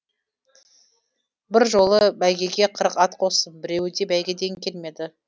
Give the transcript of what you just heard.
бір жолы бәйгеге қырық ат қостым біреуі де бәйгеден келмеді